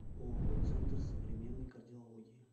ооо центр современной кардиологии